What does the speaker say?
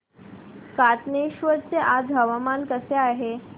कातनेश्वर चे आज हवामान कसे आहे